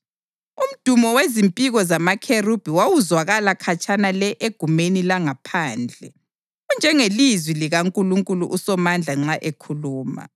Umdumo wezimpiko zamakherubhi wawuzwakala khatshana le egumeni langaphandle, unjengelizwi likaNkulunkulu uSomandla nxa ekhuluma.